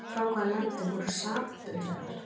Frá hvaða landi voru SAAB bifreiðar?